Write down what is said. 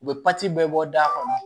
U bɛ bɛɛ bɔ da kɔnɔ